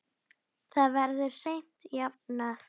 Það verður seint jafnað.